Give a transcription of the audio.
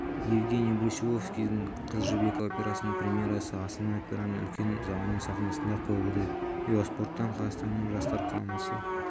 евгений брусиловскийдің қыз жібек операсының премьерасы астана операның үлкен залының сахнасында қойылды велоспорттан қазақстанның жастар құрамасы